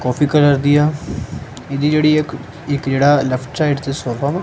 ਕਾਫੀ colour ਦੀਆ ਇਹਦੀ ਜਿਹੜੀ ਇਕ ਜਿਹੜਾ ਲੈਫਟ ਸਾਈਡ ਤੇ ਸੋਫਾ ਵਾ--